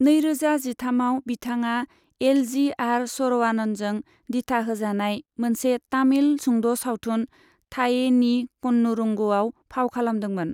नैरोजा जिथामआव, बिथाङा एल जी आर सरवाननजों दिथा होजानाय मोनसे तामिल सुंद' सावथुन 'थाये नी कन्नूरंगु'आव फाव खालामदोंमोन।